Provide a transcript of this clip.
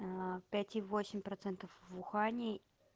пять и восемь процентов в ухани